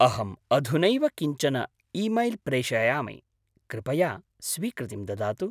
अहम् अधुनैव किञ्चन ईमैल् प्रेषयामि, कृपया स्वीकृतिं ददातु।